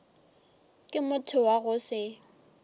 ke motho wa go se